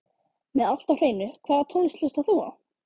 Með allt á hreinu Hvaða tónlist hlustar þú á?